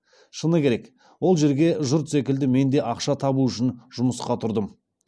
шыны керек ол жерге жұрт секілді мен де ақша табу үшін жұмысқа тұрдым